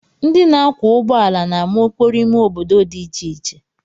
Ndị na-akwọ ụgbọala na-ama okporo ime obodo dị iche iche